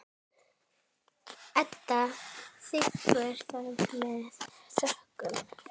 Edda þiggur það með þökkum.